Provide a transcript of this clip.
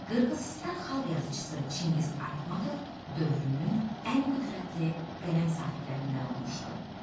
Qırğızıstan xalq yazıçısı Çingiz Aytmatov dövrünün ən qüdrətli qələm sahiblərindən olmuşdu.